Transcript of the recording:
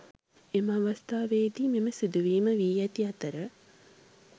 එම අවස්‌ථාවේදී මෙම සිදුවීම වී ඇති අතර